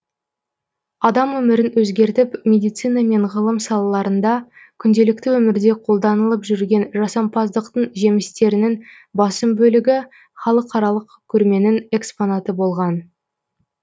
адам өмірін өзгертіп медицина мен ғылым салаларында күнделікті өмірде қолданылып жүрген жасампаздықтың жемістерінің басым бөлігі халықаралық көрменің экспонаты болған